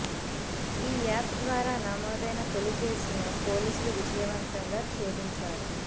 ఈ యాప్ ద్వారా నమోదైన తొలి కేసును పోలీసులు విజయవంతంగా చేధించారు